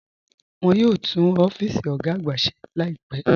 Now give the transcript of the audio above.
Wọ́n yóò túún ọ̀fíìsì ogá àgbà ṣè láìpẹ́.